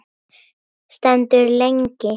Stendur lengi.